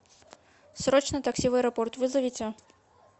срочно такси в аэропорт вызовите